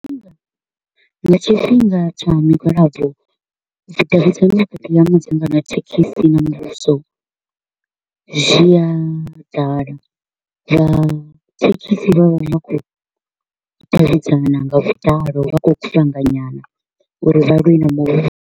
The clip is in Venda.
Nga tshifhinga tsha migwalabo, vhudavhidzani vhukati ha madzangano a dzithekhisi na muvhuso zwia ḓala, vha thekhisi vha vha kho u davhidzana nga vhuḓalo, vha kho u kuvhanganyana uri vha lwe na muvhuso.